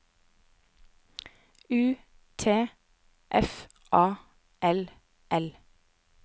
U T F A L L